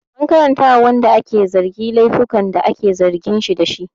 An karanta wa wanda ake zargi laifukan da ake zargin shi dashi